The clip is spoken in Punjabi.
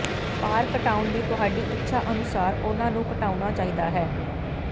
ਭਾਰ ਘਟਾਉਣ ਦੀ ਤੁਹਾਡੀ ਇੱਛਾ ਅਨੁਸਾਰ ਉਨ੍ਹਾਂ ਨੂੰ ਘਟਾਉਣਾ ਚਾਹੀਦਾ ਹੈ